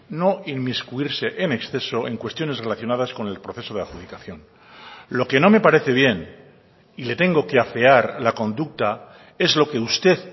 no inmiscuirse en exceso en cuestiones relacionadas con el proceso de adjudicación lo que no me parece bien y le tengo que afear la conducta es lo que usted